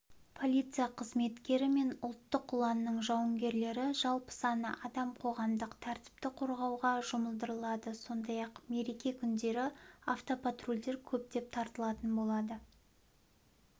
полиция қызметкері мен ұлттық ұланның жауынгерлері жалпы саны адам қоғамдық тәртіпті қорғауға жұмылдырылады сондай-ақ мереке күндері автопатрульдер көптеп тартылатын болады